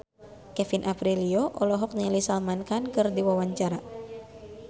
Kevin Aprilio olohok ningali Salman Khan keur diwawancara